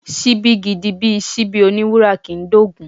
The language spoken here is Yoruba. Ṣíbí gidi bíi Ṣíbí oní wúrà kì ń dóògún.